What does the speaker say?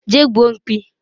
je gbuo mkpi